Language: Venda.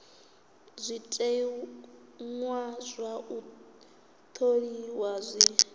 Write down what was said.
zwiteṅwa zwa u tholiwa zwi